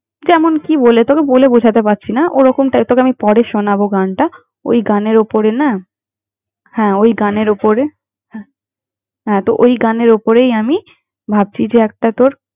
যেমন কি বলে তোকে বলে বোঝাতে পারছি না, ওরকম type তোকে আমি পরে শোনাবো গানটা। ওই গানের ওপরে না! হ্যাঁ, ওই গানের ওপরে হ্যা, হ্যাঁ তো ওই গানের ওপরেই আমি ভাবছি যে একটা তোর।